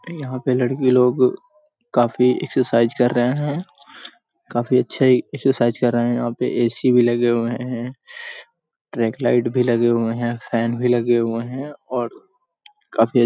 यहाँ पे लड़की लोग काफी एक्सरसाइज कर रहे हैं काफी अच्छी एक्सरसाइज कर रहे हैं यहाँ पे ए.सी. भी लगे हुए हैं ट्रैक लाइट भी लगे हुए हैं फैन भी लगे हुए हैं और काफी --